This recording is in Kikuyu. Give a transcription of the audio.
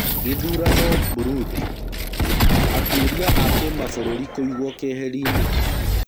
Gĩthurano Burundi. Atwĩria a kimabũrũri kũigwo keheri-nĩ.